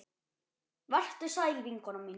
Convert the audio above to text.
Vertu sæl vinkona mín.